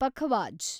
pakhawaj